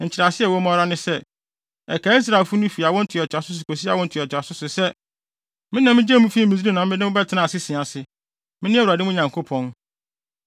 Nkyerɛase a ɛwɔ mu ara ne sɛ, ɛkae Israelfo no fi awo ntoatoaso so kosi awo ntoatoaso so sɛ, me na migyee mo fii Misraim ma mobɛtenaa asese ase. Mene Awurade mo Nyankopɔn.’ ”